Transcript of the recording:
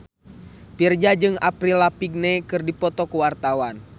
Virzha jeung Avril Lavigne keur dipoto ku wartawan